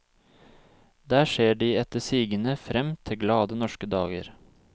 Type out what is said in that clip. Der ser de etter sigende frem til glade norske dager.